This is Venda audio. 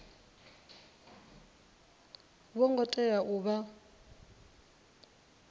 vho ngo tea u vha